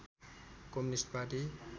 communist party